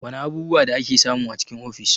Wana abubuwa da ake samu a cikin ofis?